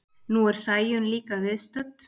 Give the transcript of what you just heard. Nú er Sæunn líka viðstödd.